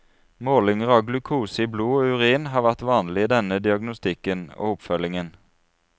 Målinger av glukose i blod og urin har vært vanlige i denne diagnostikken og oppfølgingen.